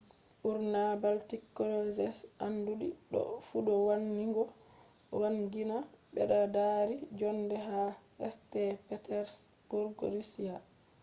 ɓurna baltic cruises anduɗi ɗo fu ɗo wangina ɓeddaari njoonde ha st. petersburg russia